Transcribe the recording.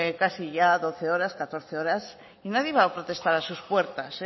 casi ya doce horas catorce horas y nadie va a protestar a sus puertas